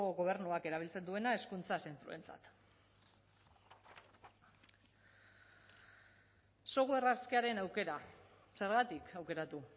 gobernuak erabiltzen duena hezkuntza zentroentzat software askearen aukera zergatik aukeratu